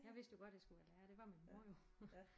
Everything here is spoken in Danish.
Jeg vidste jo godt jeg skulle være lærer ikke det var min mor jo